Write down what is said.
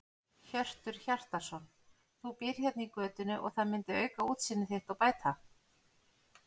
Hjörtur Hjartarson: Þú býrð hérna í götunni og það myndi auka útsýni þitt og bæta?